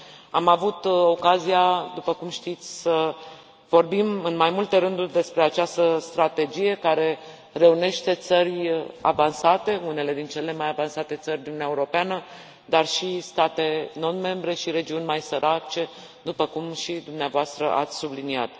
Am avut ocazia, după cum știți, să vorbim în mai multe rânduri despre această strategie care reunește țări avansate, unele dintre cele mai avansate țări din Uniunea Europeană, dar și state non membre și regiuni mai sărace, după cum și dumneavoastră ați subliniat.